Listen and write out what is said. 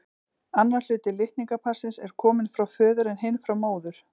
Annar hluti litningaparsins er kominn frá föður en hinn frá móður.